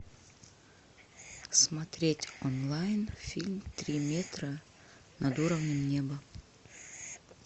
смотреть онлайн фильм три метра над уровнем неба